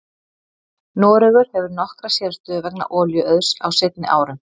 Noregur hefur nokkra sérstöðu vegna olíuauðs á seinni árum.